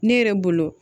Ne yɛrɛ bolo